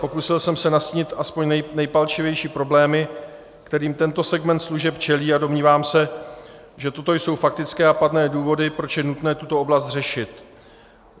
Pokusil jsem se nastínit aspoň nejpalčivější problémy, kterým tento segment služeb čelí, a domnívám se, že toto jsou faktické a pádné důvody, proč je nutné tuto oblast řešit.